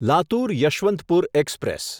Latur Yeshwantpur express